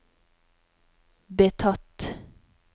betatt